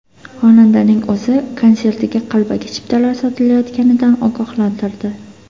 Xonandaning o‘zi konsertiga qalbaki chiptalar sotilayotganidan ogohlantirdi.